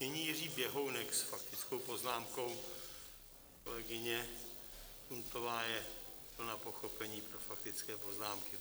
Nyní Jiří Běhounek s faktickou poznámkou, kolegyně Puntová je plná pochopení pro faktické poznámky.